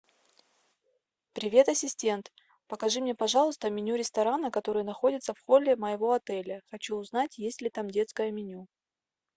привет ассистент покажи мне пожалуйста меню ресторана который находится в холле моего отеля хочу узнать есть ли там детское меню